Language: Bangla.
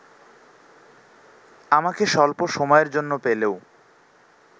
আমাকে স্বল্প সময়ের জন্য পেলেও